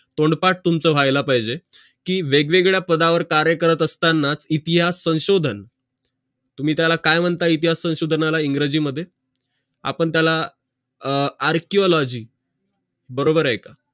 तोंडपाठ तुमचा व्हायला पाहिजे कि वेग वेगळ्या पदा वर कार्य करत असताना इतिहास संशोधन तुम्ही त्याला काय म्णता इतिहास संशोधनाला इंग्रजी मध्ये आपण त्याला arcology बरोबर आहे का